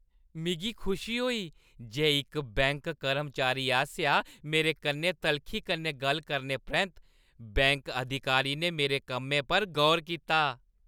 मिगी खुशी होई जे इक बैंक कर्मचारी आसेआ मेरे कन्नै तलखी कन्नै गल्ल करने परैंत्त बैंक अधिकारी ने मेरे कम्मै पर गौर कीता।